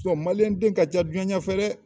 ka ca diɲɛ ɲɛfɛ dɛ!